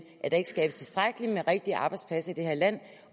at der ikke skabes tilstrækkeligt med rigtige arbejdspladser i det her land